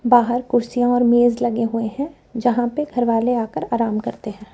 बाहर कुर्सीयां और मेज लगे हुए हैं जहां पे घर वाले आ कर आराम करते हैं।